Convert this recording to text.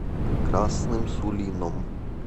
красным сулином